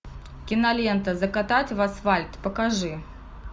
кинолента закатать в асфальт покажи